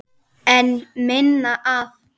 En minna af?